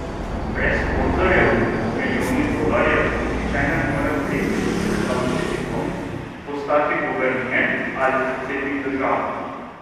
Brez sponzorjev z milijoni dolarjev nihče ne more priti v predstavniški dom, postati guverner ali predsednik države.